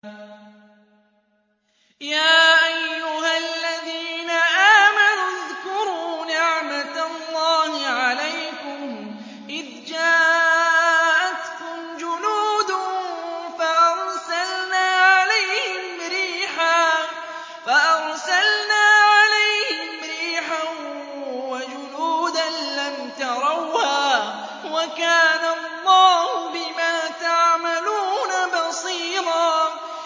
يَا أَيُّهَا الَّذِينَ آمَنُوا اذْكُرُوا نِعْمَةَ اللَّهِ عَلَيْكُمْ إِذْ جَاءَتْكُمْ جُنُودٌ فَأَرْسَلْنَا عَلَيْهِمْ رِيحًا وَجُنُودًا لَّمْ تَرَوْهَا ۚ وَكَانَ اللَّهُ بِمَا تَعْمَلُونَ بَصِيرًا